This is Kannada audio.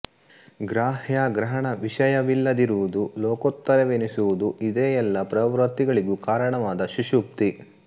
ಗ್ರಾಹ್ಯಗ್ರಹಣ ವಿಷಯವಿಲ್ಲದಿರುವುದು ಲೋಕೋತ್ತರವೆನಿಸುವುದು ಇದೇ ಎಲ್ಲ ಪ್ರವೃತ್ತಿಗಳಿಗೂ ಕಾರಣವಾದ ಸುಷುಪ್ತಿ